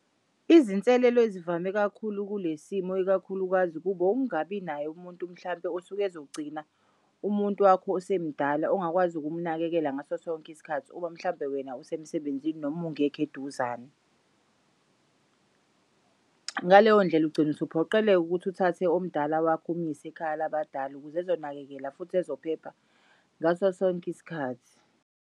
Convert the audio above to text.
Izinselelo ezivame kakhulu kulesimo ikakhulukazi kub'ungabi naye umuntu mhlawumpe osuke ezogcina umuntu wakho osemdala ongakwazi ukumnakekela ngaso sonke isikhathi uma mhlambe wena usemsebenzini noma ungekh'eduzane. Ngaleyondlela ugcina usuphoqeleka ukuthi uthathe omdala wakho umuyise ekhaya labadala ukuze ezonakekela futhi ezophepha ngasosonk'isikhathi.